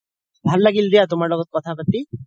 ভাল লাগিল দিয়া তুমাৰ লগত কথা পাতি